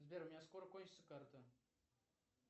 сбер у меня скоро кончится карта